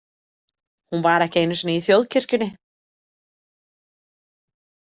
Hún var ekki einu sinni í Þjóðkirkjunni.